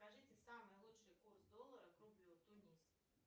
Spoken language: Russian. скажите самый лучший курс доллара к рублю тунис